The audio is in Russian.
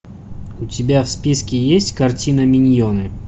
у тебя в списке есть картина миньоны